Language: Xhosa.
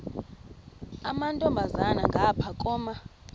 amantombazana ngapha koma